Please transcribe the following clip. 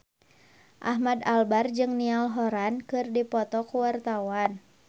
Ahmad Albar jeung Niall Horran keur dipoto ku wartawan